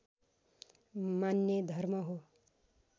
मान्ने धर्म हो